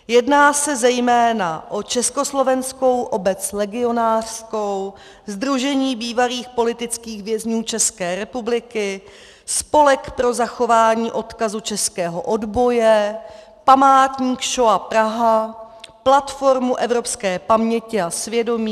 Jedná se zejména o Československou obec legionářskou, Sdružení bývalých politických vězňů České republiky, Spolek pro zachování odkazu českého odboje, Památník Šoa Praha, Platformu evropské paměti a svědomí.